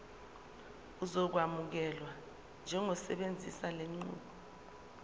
uzokwamukelwa njengosebenzisa lenqubo